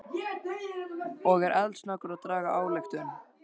Og er eldsnöggur að draga ályktun.